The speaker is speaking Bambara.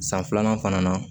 San filanan fana na